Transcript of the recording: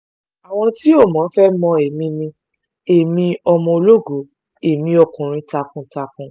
àwọn tí ó mọ́ fẹ́ẹ́ mọ ẹ̀mí ni ẹ̀mí ọmọ ológo ẹ̀mí ọkùnrin takuntakun